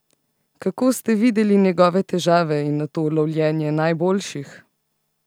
Kako ste videli njegove težave in nato lovljenje najboljših?